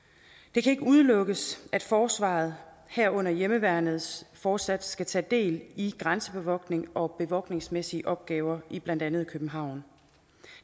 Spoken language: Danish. det kan ikke udelukkes at forsvaret herunder hjemmeværnet fortsat skal tage del i grænsebevogtningen og bevogtningsmæssige opgaver i blandt andet københavn